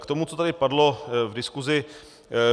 K tomu, co tady padlo v diskusi.